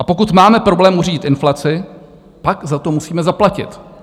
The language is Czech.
A pokud máme problém uřídit inflaci, pak za to musíme zaplatit.